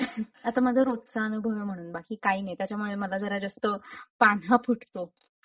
आता माझा रोजचा अनुभव ना म्हणून बाकी काही नाही त्याच्यामुळे ना मला जरा जास्त पान्हा फुटतो.